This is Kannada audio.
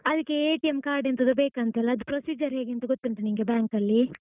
ಅದಕ್ಕೆ card ಎಂತದೋ ಬೇಕಂತೆ ಅಲಾ ಅದು procedure ಹೇಗಂತ ಗೊತ್ತುಂಟಾ ನಿಂಗೆ bank ಅಲ್ಲಿ?